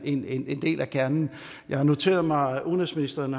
en en del af kernen jeg har noteret mig at udenrigsministeren